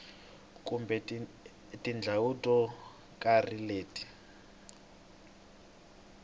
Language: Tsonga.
kumbe tindhawu to karhi leti